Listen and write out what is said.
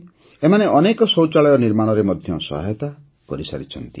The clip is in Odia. ଏମାନେ ଅନେକ ଶୌଚାଳୟ ନିର୍ମାଣରେ ମଧ୍ୟ ସହାୟତା କରିଛନ୍ତି